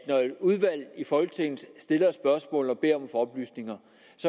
udvalg i folketinget stiller et spørgsmål og beder om at oplysninger